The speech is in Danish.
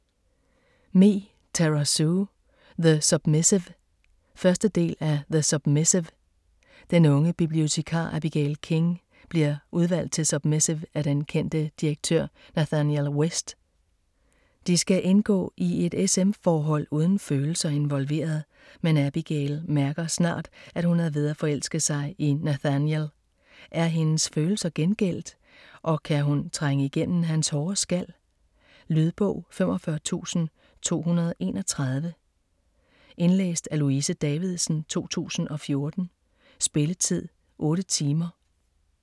Me, Tara Sue: The submissive 1. del af The submissive. Den unge bibliotekar Abigail King, bliver udvalgt til submissiv af den kendte direktør Nathaniel West. De skal indgå i et s/m forhold uden følelser involveret, men Abigail mærker snart at hun er ved at forelske sig i Nathaniel. Er hendes følelser gengældte, og kan hun trænge igennem hans hårde skal? Lydbog 45231 Indlæst af Louise Davidsen, 2014. Spilletid: 8 timer, 0 minutter.